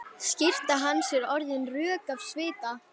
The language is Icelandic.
Skyrtan hans er orðin rök af svita.